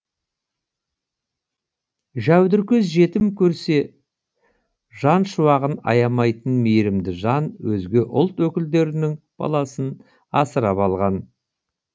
жәудіркөз жетім көрсе жан шуағын аямайтын мейірімді жан өзге ұлт өкілдерінің баласын асырап алған